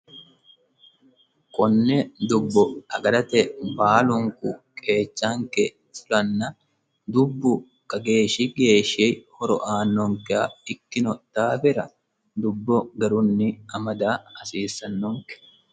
Konne dubbo aggarate baalunikku qeechannike fulanna dubbu kageeshshi geeshi horo aanonikeha ikkino daafira dubbo garrunni amadda hasisannonike